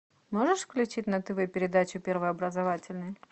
можешь включить на тв передачу первый образовательный